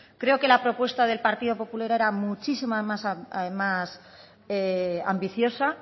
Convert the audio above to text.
creo que la propuesta del partido popular era muchísimo más ambiciosa